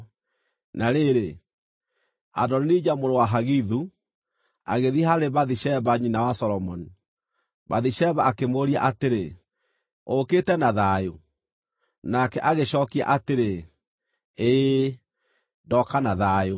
Na rĩrĩ, Adonija mũrũ wa Hagithu, agĩthiĩ harĩ Bathisheba nyina wa Solomoni. Bathisheba akĩmũũria atĩrĩ, “Ũũkĩte na thayũ?” Nake agĩcookia atĩrĩ, “Ĩĩ, ndooka na thayũ.”